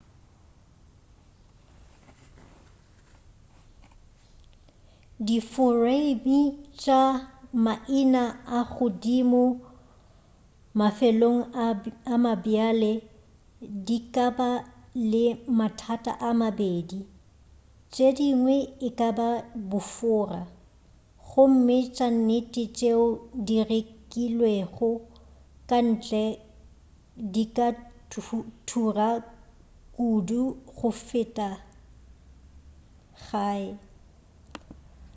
diforeime tša maina a godimo mafelong a mabjale di ka ba le mathata a mabedi tšedingwe e kaba bofora gomme tša nnete tšeo di rekilwego ka ntle di ka thura kudu go feta gae